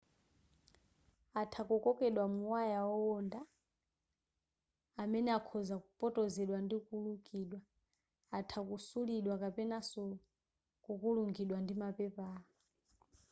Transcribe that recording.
atha kukokedwa mu waya owonda amene akhoza kupotozedwa ndi kulukidwa atha kusulidwa kapenanso kukulungidwa ndi mapepala